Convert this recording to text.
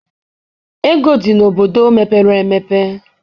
Ego dị n'obodo mepere emepe.